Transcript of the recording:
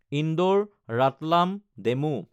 Indore Ratlam DEMU